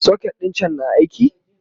socket ɗin can na aiki?